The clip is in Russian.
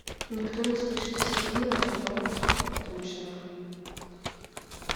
никто не слышит все фильмы о чужом от лучшего